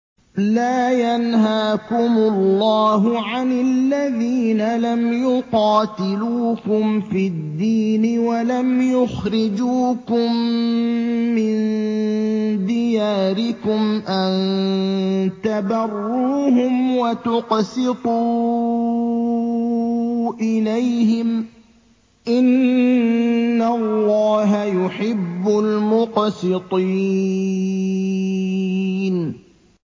لَّا يَنْهَاكُمُ اللَّهُ عَنِ الَّذِينَ لَمْ يُقَاتِلُوكُمْ فِي الدِّينِ وَلَمْ يُخْرِجُوكُم مِّن دِيَارِكُمْ أَن تَبَرُّوهُمْ وَتُقْسِطُوا إِلَيْهِمْ ۚ إِنَّ اللَّهَ يُحِبُّ الْمُقْسِطِينَ